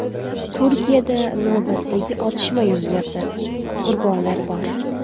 Turkiyada navbatdagi otishma yuz berdi, qurbonlar bor.